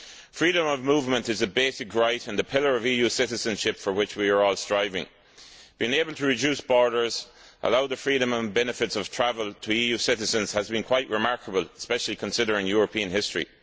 Freedom of movement is a basic right and a pillar of EU citizenship for which we are all striving. Being able to reduce borders and allow the freedom and benefits of travel to EU citizens has been quite remarkable, especially considering European history.